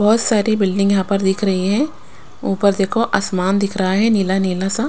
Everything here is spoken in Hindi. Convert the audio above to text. बहुत सारी बिल्डिंग यहाँ पर दिख रही है ऊपर देखो आसमान दिख रहा है नीला नीला सा --